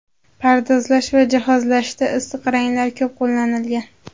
Pardozlash va jihozlashda issiq ranglar ko‘p qo‘llanilgan.